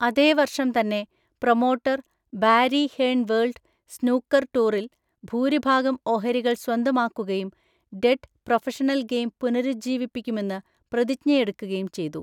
അതേ വർഷം തന്നെ promoter Barry Hearn world snooker ടൂറിൽ ഭൂരിഭാഗം ഓഹരികൾ സ്വന്തമാക്കുകയും 'ഡെഡ്' പ്രൊഫഷണൽ ഗെയിം പുനരുജ്ജീവിപ്പിക്കുമെന്ന് പ്രതിജ്ഞയെടുക്കുകയും ചെയ്തു.